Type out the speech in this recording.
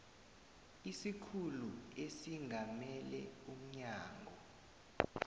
isikhulu esingamele umnyango